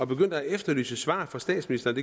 begyndte at efterlyse svar fra statsministeren